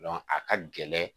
a ka gɛlɛn